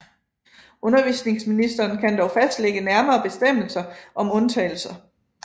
Undervisningsministeren kan dog fastlægge nærmere bestemmelser om undtagelser